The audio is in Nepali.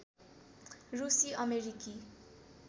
रुसी अमेरिकी